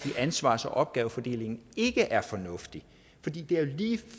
i ansvars og opgavefordelingen ikke er fornuftige fordi det er lige